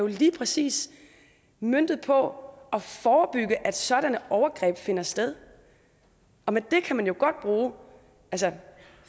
lige præcis møntet på at forebygge at sådanne overgreb finder sted og med det kan man jo godt bruge